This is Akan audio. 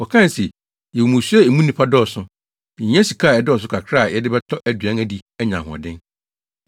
Wɔkae se, “Yɛwɔ mmusua a emu nnipa dɔɔso. Yehia sika a ɛdɔɔso kakra a yɛde bɛtɔ aduan adi anya ahoɔden.”